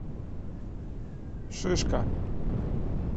шишка